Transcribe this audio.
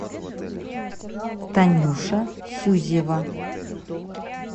танюша сюзева